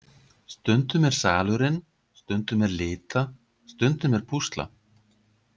Stundum er salurinn, stundum er lita, stundum er púsla.